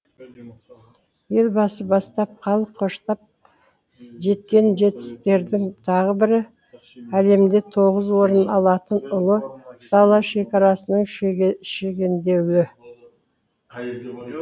елбасы бастап халық қоштап жеткен жетістіктердің тағы бірі әлемде тоғызыншы орын алатын ұлы дала шекарасының шегенделуі